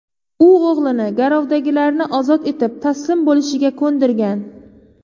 U o‘g‘lini garovdagilarni ozod etib, taslim bo‘lishiga ko‘ndirgan.